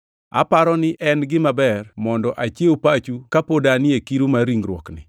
Aparo ni en gima ber mondo achiew pachu ka pod anie kiru mar ringruokni,